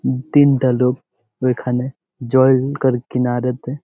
তিনটা লোক ওইখানে জল কিনারেতে।